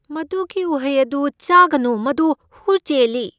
ꯃꯗꯨꯒꯤ ꯎꯍꯩ ꯑꯗꯨ ꯆꯥꯒꯅꯨ꯫ ꯃꯗꯨ ꯍꯨ ꯆꯦꯜꯂꯤ꯫